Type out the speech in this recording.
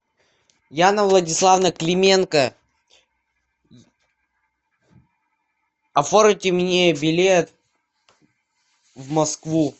яна владиславовна клименко оформите мне билет в москву